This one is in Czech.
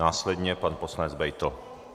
Následně pan poslanec Beitl.